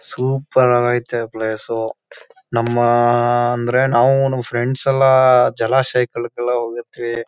Super ಅಗೈತೆ place ನಾವು ನಮ್ ಫ್ರೆಂಡ್ಸ್ ಎಲ್ಲ ಜಲಾಶಯಗಳಿಗೆಲ್ಲ ಹೋಗಿರ್ತೀವಿ.